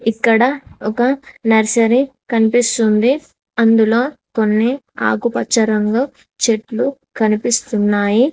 ఇక్కడ ఒక నర్సరీ కనిపిస్తుంది అందులో కొన్ని ఆకుపచ్చ రంగు చెట్లు కనిపిస్తున్నాయి.